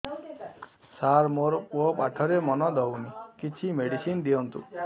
ସାର ମୋର ପୁଅ ପାଠରେ ମନ ଦଉନି କିଛି ମେଡିସିନ ଦିଅନ୍ତୁ